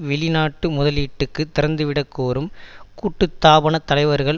வெளிநாட்டு முதலீட்டுக்கு திறந்துவிடக் கோரும் கூட்டுத்தாபனத் தலைவர்கள்